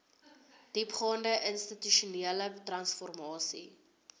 diepgaande institusionele transformasie